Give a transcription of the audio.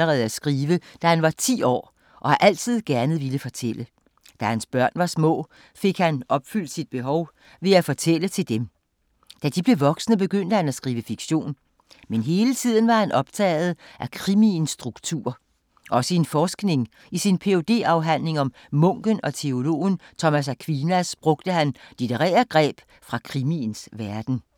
Eco begyndte at skrive allerede, da han var ti år og har altid gerne villet fortælle. Da hans børn var små, fik han opfyldt sit behov ved at fortælle til dem. Da de blev voksne, begyndte han at skrive fiktion. Men hele tiden var han optaget af krimiens struktur. Også i sin forskning. I sin ph.d.-afhandling om munken og teologen Thomas Aquinas, brugte han litterære greb fra krimiens verden.